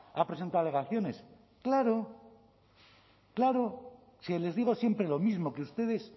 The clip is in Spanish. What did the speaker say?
ha presentado alegaciones claro claro si les digo siempre lo mismo que ustedes